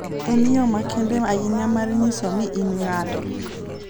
En yo makende ahinya mar nyiso ni in ng'ato.